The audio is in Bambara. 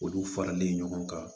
Olu faralen ɲɔgɔn kan